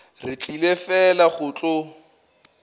re tlile fela go tlo